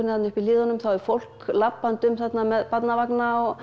uppi í hlíðunum þá er fólk labbandi um þarna með barnavagna